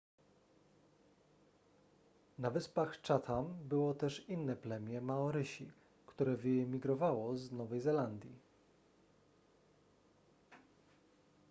na wyspach chatham było też inne plemię maorysi które wyemigrowało z nowej zelandii